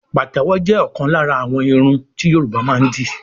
Pàtẹ́wọ̀ jẹ́ ọ̀kan lára àwọn irun ti Yorùbá máa ń dì